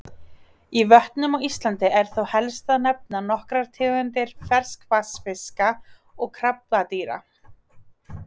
Í vötnum á Íslandi er þó helst að nefna nokkrar tegundir ferskvatnsfiska og krabbadýra.